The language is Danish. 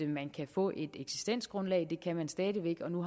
man kan få et eksistensgrundlag det kan man stadig væk og nu